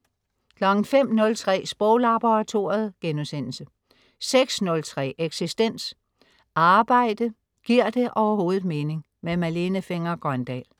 05.03 Sproglaboratoriet* 06.03 Eksistens. Arbejde, giver det overhovedet mening? Malene Fenger-Grøndahl